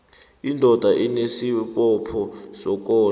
indoda inesibopho sokondla